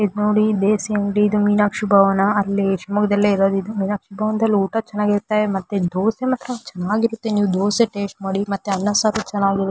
ಇದ್ ನೋಡಿ ದೇಸಿ ಅಂಗಡಿ ಇದು ಮೀನಾಕ್ಷಿ ಭವನ ಅಲ್ಲಿ ಶಿವಮೊಗ್ಗದಲ್ಲೆ ಇರೋದು ಇದು ಮೀನಾಕ್ಷಿ ಭವನ ಊಟ ಚೆನ್ನಾಗಿರುತ್ತೆ ಮತ್ತೆ ದೋಸೆ ಮಾತ್ರ ಚೆನ್ನಾಗಿರುತ್ತೆ ನೀವು ದೋಸೆ ಟೇಸ್ಟ್ ಮಾಡಿ ಮತ್ತೆ ಅಣ್ಣ ಸಾರು ಚನ್ನಾಗಿ--